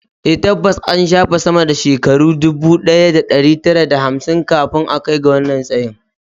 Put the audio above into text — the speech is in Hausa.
A, tabbas an shafe sama da shekaru ɗubu ɗaya da ɗari tara da hamsin kafin a kai ga wannan tsayin